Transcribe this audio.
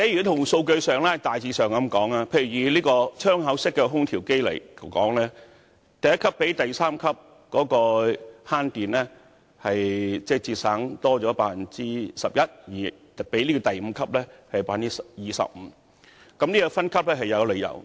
從數據上而言，以窗口式空調為例，第一級較第三級多節省 11%， 而較第五級則多省 25% 電力，所以分級是有理由的。